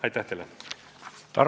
Aitäh teile!